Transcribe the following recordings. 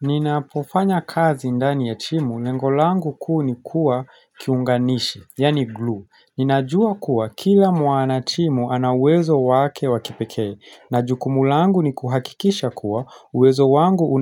Ninapofanya kazi ndani ya timu, lengo langu kuu ni kuwa kiunganishi, yaani glue. Ninajua kuwa kila mwana timu anauwezo wake wakipeke. Na jukumu langu ni kuhakikisha kuwa, uwezo wangu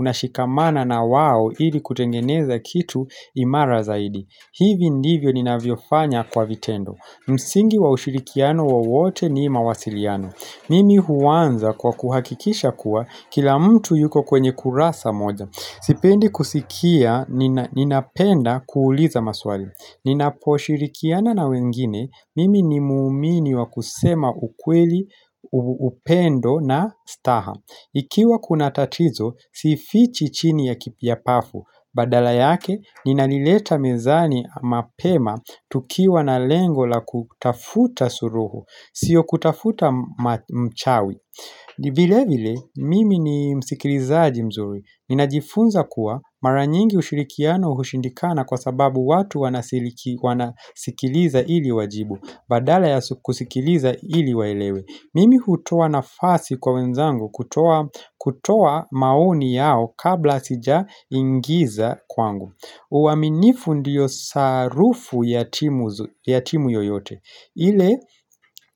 unashikamana na wao ili kutengeneza kitu imara zaidi. Hivi ndivyo ninavyofanya kwa vitendo. Msingi wa ushirikiano wowote ni mawasiliano. Mimi huanza kwa kuhakikisha kuwa, kila mtu yuko kwenye kurasa moja, Sipendi kusikia, ninapenda kuuliza maswali. Ninaposhirikiana na wengine, mimi ni muumini wa kusema ukweli, upendo na staha, ikiwa kuna tatizo, sifichi chini ya ki ya pafu, badala yake, ninalileta mezani mapema tukiwa na lengo la kutafuta suruhu sio kutafuta mchawi vile vile, mimi ni msikilizaji mzuri ninajifunza kuwa, mara nyingi ushirikiano hushindikana kwa sababu, watu wanasikiliza ili wajibu, badala ya kusikiliza ili waelewe, Mimi hutoa nafasi kwa wenzangu kutoa maoni yao kabla sijaingiza kwangu uwaminifu ndiyo sarufu ya timu yoyote, ile,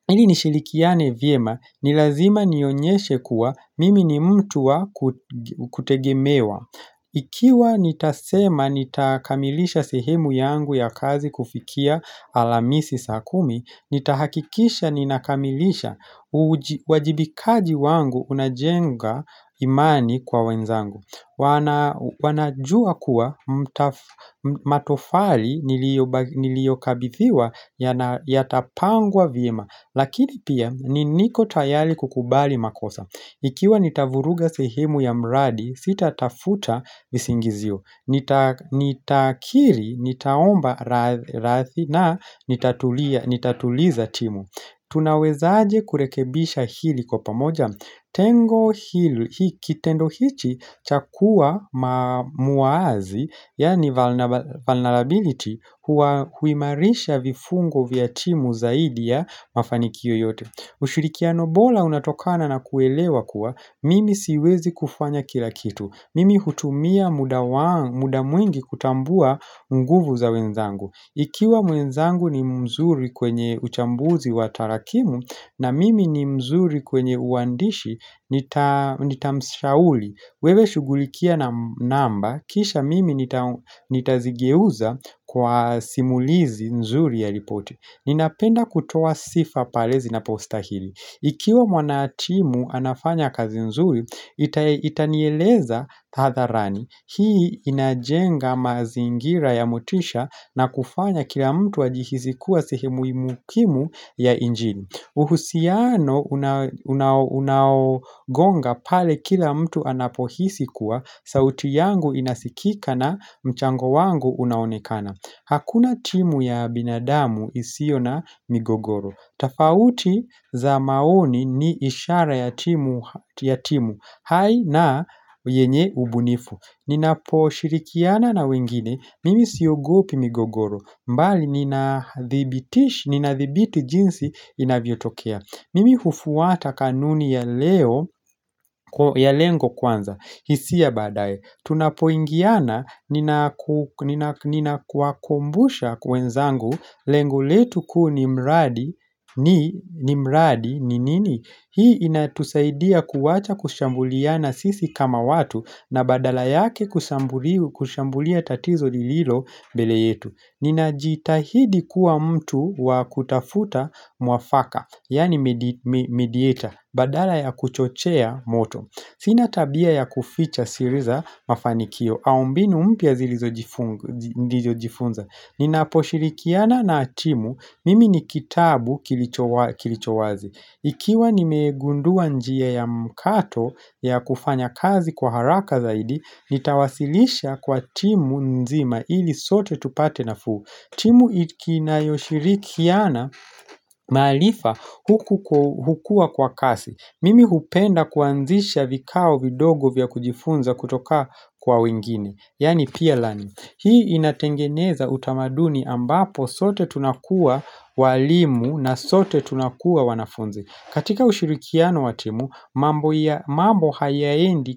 ilinishirikiane vyema ni lazima nionyeshe kuwa, mimi ni mtu wa kutegemewa. Ikiwa nitasema nitakamilisha sehemu yangu ya kazi kufikia alhamisi saa kumi, nitahakikisha ninakamilisha. Uajibikaji wangu unajenga imani kwa wenzangu, wana wanajua kuwa matofali niliokabithiwa, yatapangwa vyema. Lakini pia, ni niko tayari kukubali makosa Ikiwa nitavuruga sehemu ya mradi sitatafuta visingizio Nitakiri, nitaomba radhi na nitatuliza timu Tunaweza aje kurekebisha hili kwa pamoja? Tengo hili kitendo hichi chakua ma muwazi yani vulnerability huwa huimarisha vifungo vya timu zaidi ya mafanikio yote. Ushirikiano bora unatokana na kuelewa kuwa, mimi siwezi kufanya kila kitu, mimi hutumia muda wang muda mwingi kutambua nguvu za wenzangu Ikiwa mwenzangu ni mzuri kwenye uchambuzi wa tarakimu, na mimi ni mzuri kwenye uandishi nita nitamshauri, wewe shughulikia na namba, kisha mimi nitazigeuza kwa simulizi nzuri ya ripoti. Ninapenda kutoa sifa pale zinapostahili Ikiwa mwanatimu anafanya kazi nzuri itanieleza hadharani, hii inajenga mazingira ya motisha na kufanya kila mtu ajihisi kuwa sehemu muhimu ya injini, uhusiano unaogonga pale kila mtu anapohisi kuwa, sauti yangu inasikika na mchango wangu unaonekana Hakuna timu ya binadamu isio na migogoro, tofauti za maoni ni ishara ya timu ya timu hai na yenye ubunifu. Ninaposhirikiana na wengine, mimi siogopi migogoro, mbali ninadhibitish, ninadhibiti jinsi inavyotokea. Mimi hufuata kanuni ya leo, ya lengo kwanza, hisia baadaye. Tunapoingiana ninaku ninakuwakumbusha wenzangu lengo letu kuu ni mradi, ni, ni mradi, ni nini Hii inatusaidia kuwacha kushambuliana sisi kama watu, na badala yake kushambulia tatizo lililombele yetu. Ninajitahidi kuwa mtu wa kutafuta mwafaka yani medi medieta badala ya kuchochea moto. Sina tabia ya kuficha siri za mafanikio, au mbinu mpya zilizojifunza. Ninaposhirikiana na timu mimi ni kitabu kilicho wa kilichowazi. Ikiwa nimegundua njia ya mkato ya kufanya kazi kwa haraka zaidi, nitawasilisha kwa timu nzima, ili sote tupate nafuu. Timu inayoshirikiana maarifa huku hukua kwa kasi. Mimi hupenda kuanzisha vikao vidogo vya kujifunza kutoka kwa wengine, yani peer learning. Hii inatengeneza utamaduni ambapo sote tunakuwa walimu, na sote tunakuwa wanafunzi. Katika ushirikiano wa timu, mambo hayaendi.